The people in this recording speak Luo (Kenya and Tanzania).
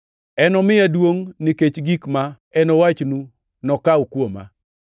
Enomiya duongʼ, nikech gik ma enowachnu nokaw kuoma.